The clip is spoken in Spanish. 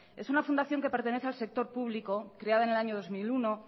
es una fundación que pertenece al sector público creada en el año dos mil uno